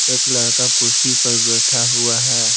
एक लड़का कुर्सी पर बैठा हुआ है।